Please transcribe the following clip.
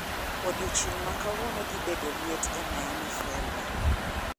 Odiechieng' ma kawuono dhi bedo liet e miami florida